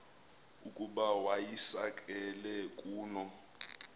ukuba wayisakele kuno